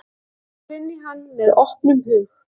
Ég fór inn í hann með opnum hug.